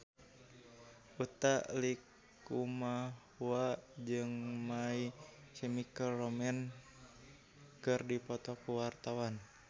Utha Likumahua jeung My Chemical Romance keur dipoto ku wartawan